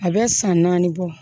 A bɛ san naani bɔ